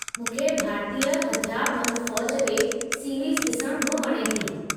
मूंखे भारतीय हथियारबंदि फ़ौज ते सीरीज़ ॾिसणु बि वणे थो।